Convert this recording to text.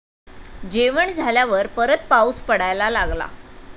जेवण झाल्यावर परत पाऊस पडायला लागला.